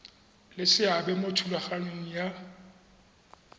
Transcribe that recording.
le seabe mo thulaganyong ya